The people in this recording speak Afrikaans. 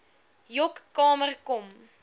joc kamer kom